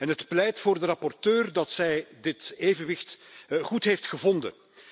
Het pleit voor de rapporteur dat zij dit evenwicht goed heeft gevonden.